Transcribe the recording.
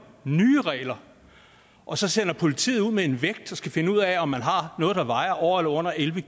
nye regler og så sender politiet ud med en vægt der skal finde ud af om man har noget der vejer over eller under elleve